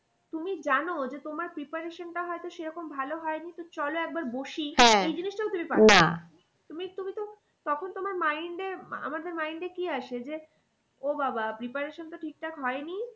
তুমি জানো যে তোমার preparation টা হয়তো সেরকম ভালো হয়নি তো চলো একবার বসি এই জিনিসটাও তুমি পারবে না তুমি তুমি তো তখন তোমার mind এ আমাদের mind এ কি আছে যে ও বাবা preparation টা ঠিকঠাক হয়নি